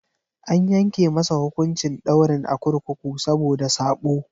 An yanke masa hukuncin daurin a kurkuku saboda sabo.